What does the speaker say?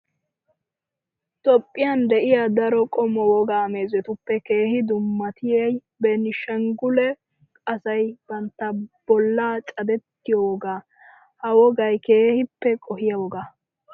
Toophphiyan diyaa daro qommo wogaa meezetuppe keehi dummatiyaa beeni shanggulee asayi bantta bolla cadettiyoo wogaa. Ha wogayi keehippe qohiyaa woga.